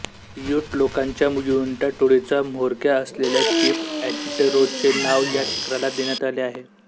यूट लोकांच्या युइंटा टोळीचा म्होरक्या असलेल्या चीफ एंटेरोचे नाव या शिखराला देण्यात आले आहे